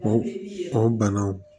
O o banaw